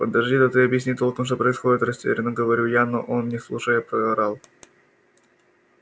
подожди да ты объясни толком что происходит растеряно говорю я но он не слушая проорал